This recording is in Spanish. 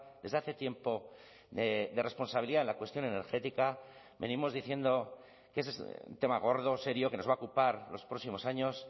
desde hace tiempo de responsabilidad en la cuestión energética venimos diciendo que ese es un tema gordo serio que nos va a ocupar los próximos años